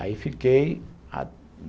Aí fiquei.